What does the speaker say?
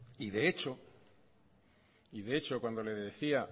de hecho cuando le decía